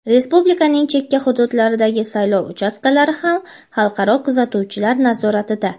Respublikaning chekka hududlaridagi saylov uchastkalari ham xalqaro kuzatuvchilar nazoratida.